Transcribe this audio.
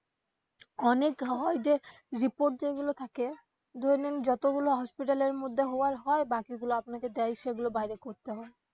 অনেক হয় যে report যেইগুলো থাকে ধরে নিন যতগুলা hospital এর মধ্যে হয় হয় বাকিগুলা আপনাকে দেয় সেগুলা বাইরে করতে হয়.